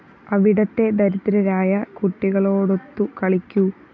അവിടത്തെ ദരിദ്രരായ കുട്ടികളോടൊത്തു കളിക്കൂ